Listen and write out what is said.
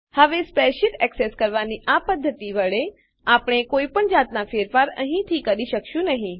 હવે spreadsheet access કરવાની આ પદ્ધતિ વડેઆપણે કોઈ પણ જાતના ફેરફાર અહીંથી કરી શકીશું નહીં